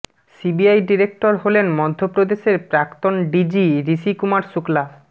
CBI director হলেন মধ্য প্রদেশের প্রাক্তন ডিজি ঋষি কুমার শুক্লা